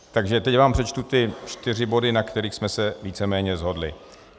Takže teď vám přečtu ty čtyři body, na kterých jsme se víceméně shodli: